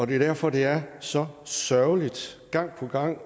derfor det er så sørgeligt gang på gang